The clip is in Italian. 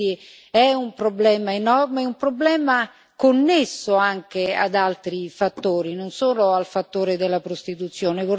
Quindi è un problema enorme, un problema connesso anche ad altri fattori, non solo al fattore della prostituzione.